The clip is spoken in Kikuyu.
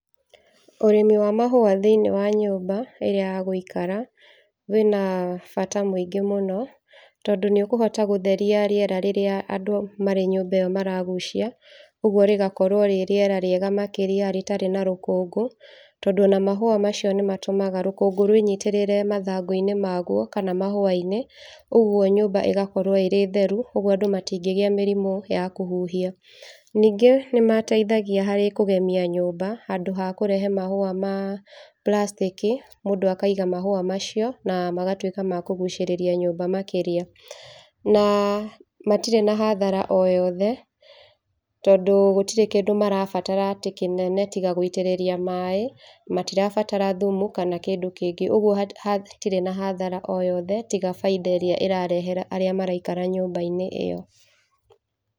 Ũrĩmi wa mahũa thĩiniĩ wa nyũmba ya gũikara wĩna bata mũingĩ mũno, tondũ nĩ ũkũhota gũtheria rĩera rĩrĩa andũ marĩ nyũmba ĩyo maragucia, ũguo rĩgakorwo rĩ rĩera rĩega makĩria, rĩtarĩ na rũkũngũ, tondũ ona mahũa macio nĩ matũmaga rũkũngũ rwĩnyitĩrĩre mathangũ-inĩ maguo kana mahũa-inĩ, ũguo nyũmba ĩgakorwo ĩ theru, ũguo andũ matĩngĩgĩa mĩrimũ ya kũhuhia, ningĩ nĩ mateithagia harĩ kũgemia nyũmba handũ hakũrehe mahũa ma plastic i, mũndũ kaiga mahũa macio na magatuĩka ma kũgũcĩrĩria nyũmba makĩria. Na matirĩ na hathara o yothe, tondũ gũtirĩ kĩndũ marabatara atĩ kĩnene, tiga gũitĩrĩria maaĩ, matirabatara thumu kana kĩndũ kĩngĩ, ũguo hatirĩ na hathara o yothe tiga bainda ĩrĩa ĩrarehera arĩa maraikara nyũmba-inĩ ĩyo.